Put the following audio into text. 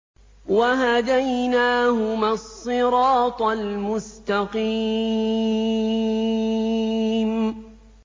وَهَدَيْنَاهُمَا الصِّرَاطَ الْمُسْتَقِيمَ